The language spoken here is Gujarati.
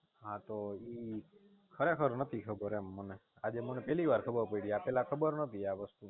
હા તો ઈ ખરેખર નતી ખબર એમ મને આજે મને પહેલી વાર ખબર પડી આ પેલા ખબર નોતી આવસ્તુ ની